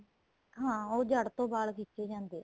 ਹਾਂ ਉਹ ਜੜ ਤੋਂ ਵਾਲ ਖਿੱਚੇ ਜਾਂਦੇ ਏ